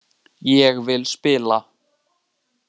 Ég vil spila.